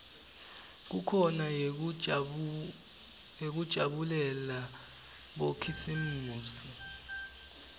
kukhona neyekujabulela bokhisimusi